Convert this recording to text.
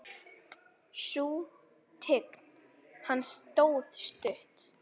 Sú tign hans stóð stutt.